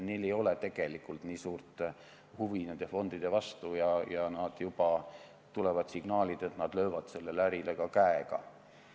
Neil ei ole tegelikult väga suurt huvi nende fondide vastu ja juba tulevad signaalid, et nad löövad sellele ärile käega.